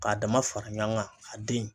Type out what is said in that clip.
K'a dama fara ɲɔan gan a den